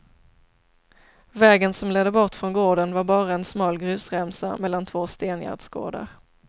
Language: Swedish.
Vägen som ledde bort från gården var bara en smal grusremsa mellan två stengärdsgårdar.